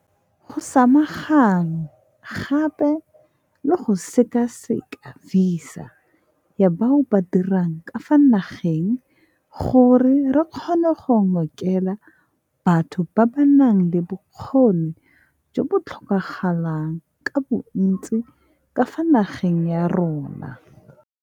Go samaganwe gape le go sekaseka visa ya bao ba dirang ka fa nageng gore re kgone go ngokela batho ba ba nang le bokgoni jo bo tlhokagalang ka bontsi ka fa nageng ya rona.